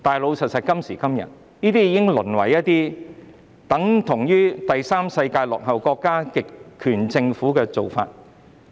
不過，誠然，有關部門所採取的，已經是第三世界落後國家或極權政府的做法。